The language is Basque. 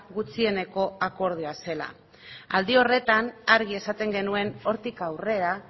gutxieneko akordioa zela aldi horretan argi esaten genuen hortik aurrera